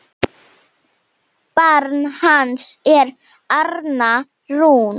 Barn hans er Arna Rún.